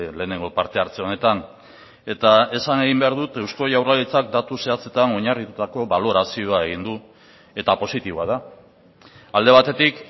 lehenengo partehartze honetan eta esan egin behar dut eusko jaurlaritzak datu zehatzetan oinarritutako balorazioa egin du eta positiboa da alde batetik